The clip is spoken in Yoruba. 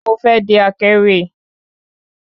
Mo fé di akéwì